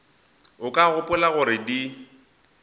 o ka gopola gore di